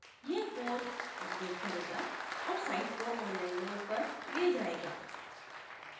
यह code update करेगा और साइट को online mode पर ले जायेगा